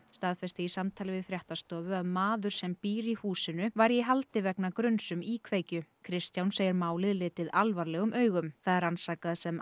staðfesti í samtali við fréttastofu að maður sem býr í húsinu væri í haldi vegna gruns um íkveikju Kristján segir málið litið alvarlegum augum það er rannsakað sem